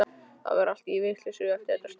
Það var allt í vitleysu eftir þetta stríð.